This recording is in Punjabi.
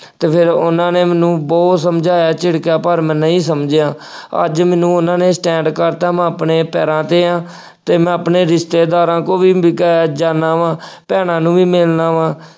ਅਤੇ ਫੇਰ ਉਹਨਾ ਨੇ ਮੈਨੂੰ ਬਹੁਤ ਸਮਝਾਇਆਂ, ਝਿੜਕਿਆ ਪਰ ਮੈਂ ਨਹੀਂ ਸਮਝਿਆਂ। ਅੱਜ ਮੈਨੂੰ ਉਹਨਾ ਨੇ stand ਕਰ ਦਿੱਤਾ। ਮੈਂ ਆਪਣੇ ਪੈਰਾਂ ਤੇ ਹਾਂ ਅਤੇ ਮੈ ਆਪਣੇ ਰਿਸ਼ਤੇਦਾਰਾਂ ਕੋਲ ਵੀ ਅਹ ਜਾਂਦਾ ਵਾ, ਭੈਣਾਂ ਨੂੰ ਵੀ ਮਿਲਦਾ ਵਾਂ।